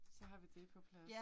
Så har vi det på plads